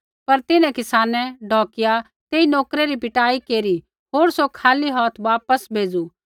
पर तिन्हैं किसानै ढौकिया तेई नोकरै री पिटाई केरी होर सौ खाली हौथ वापस भेज़ू